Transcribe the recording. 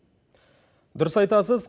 дұрыс айтасыз